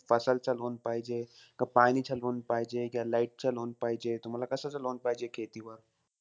च loan पाहिजे, का पाणीचं loan पाहिजे का, light चं loan पाहिजे? तुम्हाला कशाचं ला loan पाहिजे खेती वर?